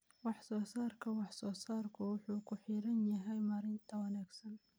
Wax-soo-saarka wax-soo-saarku wuxuu ku xiran yahay maaraynta wanaagsan.